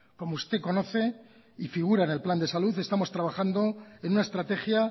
como usted conoce y figura en el plan de salud estamos trabajando en una estrategia